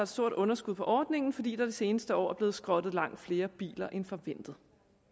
stort underskud på ordningen fordi der de seneste år er blevet skrottet langt flere biler end forventet